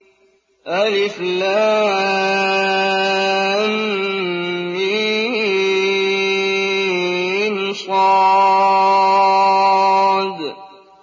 المص